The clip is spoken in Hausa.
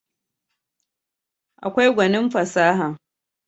akwai gwanin fasaha